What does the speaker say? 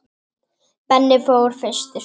Benni fór fyrstur.